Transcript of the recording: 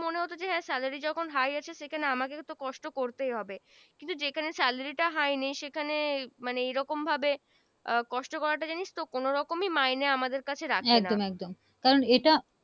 মনে হোত যে হ্যা Salary যখন High আছে আমাকে তো কষ্ট করতেই হবে কিন্তু যেখানে Salary টা High নেয় সেখানে মানে এই রকম ভাবে আহ কষ্ট করাটা জানিস তো কোন রকমই mind আমাদের কাছে রাখা